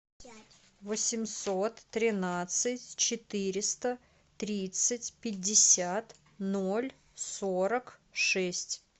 восемьсот тринадцать четыреста тридцать пятьдесят ноль сорок шесть